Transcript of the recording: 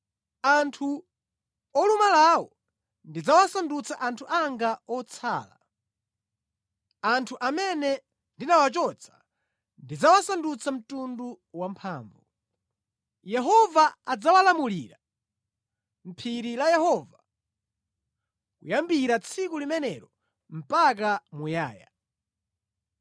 Anthu olumalawo ndidzawasandutsa anthu anga otsala. Anthu amene ndinawachotsa ndidzawasandutsa mtundu wamphamvu. Yehova adzawalamulira mʼPhiri la Yehova kuyambira tsiku limenelo mpaka muyaya.